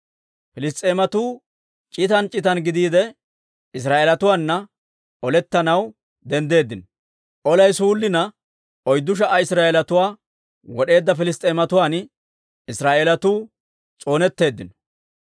Piliss's'eematuu c'itan c'itan gidiide, Israa'eelatuwaana olettanaw denddeeddino; olay suullina, oyddu sha"a Israa'eelatuwaa wod'eedda Piliss's'eematuwaan Israa'eelatuu s'oonetteeddino.